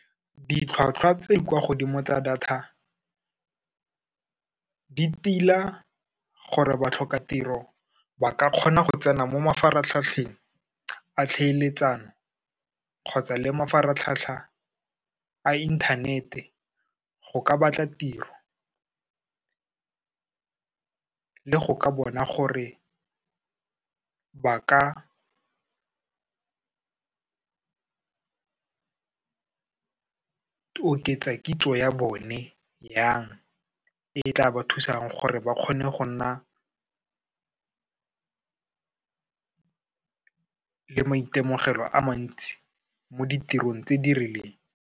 Ditlhwatlhwa tse di kwa godimo tsa data, di tila gore batlhokatiro ba ka kgona go tsena mo mafaratlhatlheng a tlhaeletsano kgotsa le mafaratlhatlha a inthanete, go ka batla tiro le go ka bona gore ba ka oketsa kitso ya bone jang, e tla ba thusang gore ba kgone go nna le maitemogelo a mantsi mo ditirong tse di rileng.